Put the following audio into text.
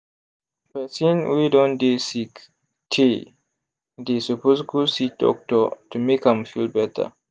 person wey don dey sick tey they suppose go see doctor to make am feel better